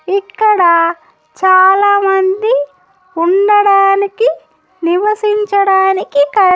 ఇక్కడా చాలామంది ఉండడానికి నివసించడానికి క.